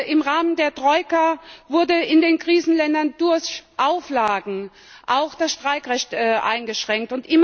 Im Rahmen der Troika wurde in den Krisenländern durch Auflagen auch das Streikrecht eingeschränkt.